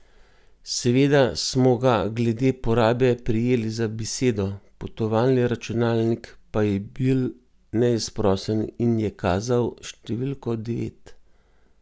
Seveda smo ga glede porabe prijeli za besedo, potovalni računalnik pa je bil neizprosen in je kazal številko devet!